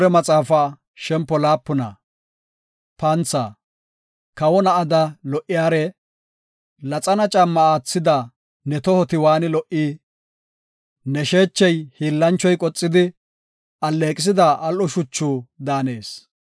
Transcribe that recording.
Kawo na7ada lo77iyare, Laxana caamma aathida ne tohoti waani lo77i! Ne sheechey hiillanchoy qoxidi, alleeqisida al7o shuchu daanees.